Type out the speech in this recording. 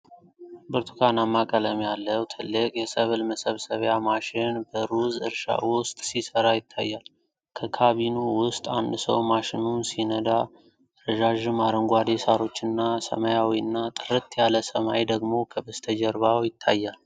ብርቱካናማ ቀለም ያለው ትልቅ የሰብል መሰብሰቢያ ማሽን በሩዝ እርሻ ውስጥ ሲሠራ ይታያል። ከካቢኑ ውስጥ አንድ ሰው ማሽኑን ሲነዳ፤ ረዣዥም አረንጓዴ ሣሮችና ሰማያዊና ጥርት ያለ ሰማይ ደግሞ ከበስተጀርባው ይታያል።